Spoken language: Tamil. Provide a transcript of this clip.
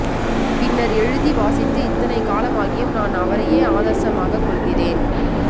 பின்னர் எழுதி வாசித்து இத்தனை காலமாகியும் நான் அவரையே ஆதர்சமாகக் கொள்கிறேன்